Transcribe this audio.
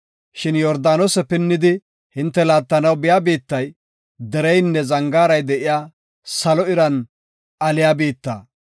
Shin Yordaanose pinnidi hinte laattanaw biya biittay, dereynne zangaaray de7iya, salo iran aliya biitta.